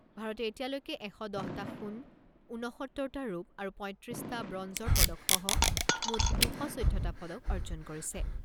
ভাৰতে এতিয়ালৈকে এশ দহটা সোণ, ঊনসত্তৰটা ৰূপ আৰু পঁইত্ৰিছ টা ব্ৰঞ্জৰ পদক সহ মুঠ দুশ চৈধ্যটা পদক অৰ্জন কৰিছে।